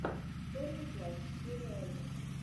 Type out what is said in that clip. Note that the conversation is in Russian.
черный плащ серия один